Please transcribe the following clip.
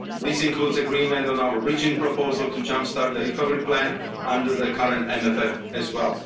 This includes agreement on our bridging proposal to jump start the recovery plan under the current MFF as well.